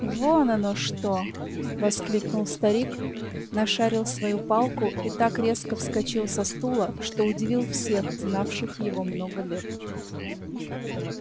вон оно что воскликнул старик нашарил свою палку и так резко вскочил со стула что удивил всех знавших его много лет